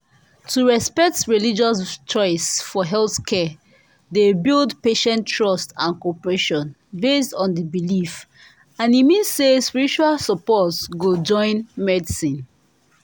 correct healthcare dey respect both person freedom and spiritual belief for some communities and e mean say spiritual support go join medicine